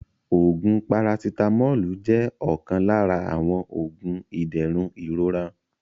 Oògún "parasitamọ́ọ́lù" jẹ́ ọ̀kan lára àwọn Oògún ìdẹ̀rùn ìrora